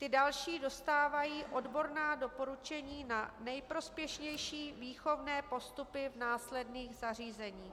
Ty další dostávají odborná doporučení na nejprospěšnější výchovné postupy v následných zařízeních.